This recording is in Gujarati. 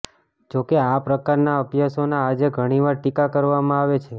જોકે આ પ્રકારના અભ્યાસોના આજે ઘણી વાર ટીકા કરવામાં આવે છે